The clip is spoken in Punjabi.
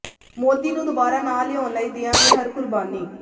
ਮੋਦੀ ਨੂੰ ਦੋਬਾਰਾ ਨਾ ਲਿਆਉਣ ਲਈ ਦਿਆਂਗੇ ਹਰ ਕੁਰਬਾਨੀ